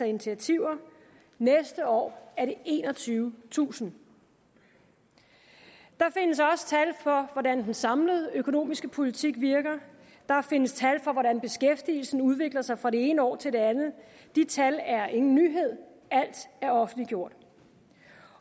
initiativer og næste år er det enogtyvetusind der findes også tal for hvordan den samlede økonomiske politik virker der findes tal for hvordan beskæftigelsen udvikler sig fra det ene år til det andet de tal er ingen nyhed alt er offentliggjort